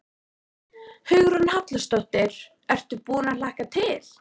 Hugrún Halldórsdóttir: Ertu búinn að hlakka til?